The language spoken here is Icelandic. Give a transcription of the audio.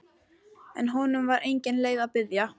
En honum var engin leið að biðja.